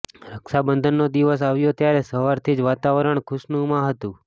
રક્ષાબંધનનો દિવસ આવ્યો ત્યારે સવારથી જ વાતાવરણ ખુશનુમા હતંુ